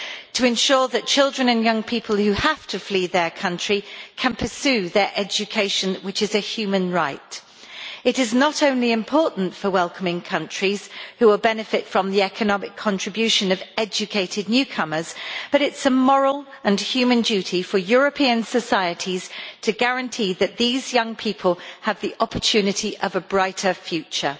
to ensure that children and young people who have to flee their country can pursue their education, which is a human right. It is not only important for welcoming countries, who will benefit from the economic contribution of educated newcomers, but it is also a moral and human duty for European societies to guarantee that these young people have the opportunity of a brighter future.